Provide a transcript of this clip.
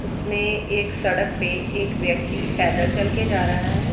उसमें एक सड़क पे एक व्यक्ति पैदल चलके जा रहा है।